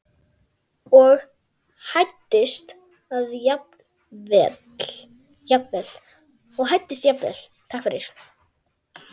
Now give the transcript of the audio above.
og hæddist að jafnvel